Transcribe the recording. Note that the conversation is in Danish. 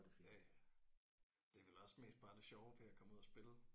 Ja ja. Det er vel også mest bare det sjove ved at komme ud og spille